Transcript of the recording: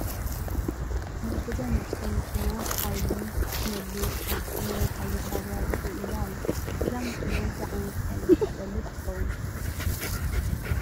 ናይ ገዛ ንኡሽተይ መኪና ሓይሊ ክትመልእ ኣብ ዝኾነ ናይ ሓይሊ ጣብያ ጠጠው ኢላ ኣላ፡፡ እዛ መኪና እንታይ ዓይነት ሓይሊ ትጠልብ ትኸውን?